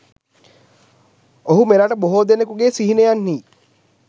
ඔහු මෙරට බොහෝ දෙනකුගේ සිහිනයන්හි